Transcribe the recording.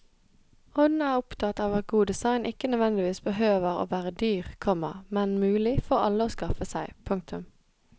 Hun er opptatt av at god design ikke nødvendigvis behøver å være dyr, komma men mulig for alle å skaffe seg. punktum